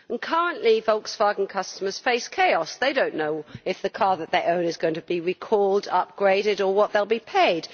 Currently Volkswagen customers face chaos. They do not know if the car that they own is going to be recalled or upgraded or what they will be paid.